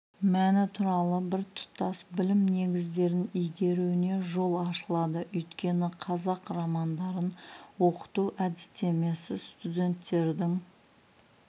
мәні туралы біртұтас білім негіздерін игеруіне жол ашылады өйткені қазақ романдарын оқыту әдістемесі студенттердің